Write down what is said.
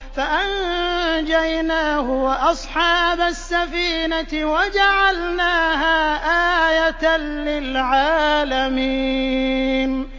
فَأَنجَيْنَاهُ وَأَصْحَابَ السَّفِينَةِ وَجَعَلْنَاهَا آيَةً لِّلْعَالَمِينَ